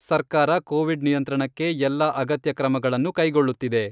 ಸರ್ಕಾರ ಕೋವಿಡ್ ನಿಯಂತ್ರಣಕ್ಕೆ ಎಲ್ಲ ಅಗತ್ಯ ಕ್ರಮಗಳನ್ನು ಕೈಗೊಳ್ಳುತ್ತಿದೆ.